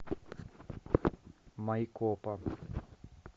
майкопа